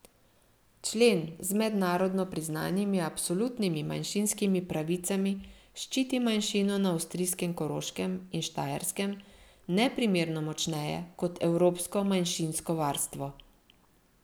Člen z mednarodno priznanimi absolutnimi manjšinskimi pravicami ščiti manjšino na avstrijskem Koroškem in Štajerskem neprimerno močneje kot evropsko manjšinsko varstvo.